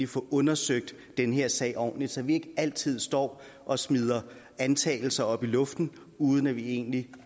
få undersøgt den her sag ordentligt så vi ikke altid står og smider antagelser op i luften uden at vi egentlig